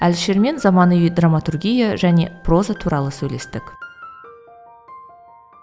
әлішермен заманауи драматургия және проза туралы сөйлестік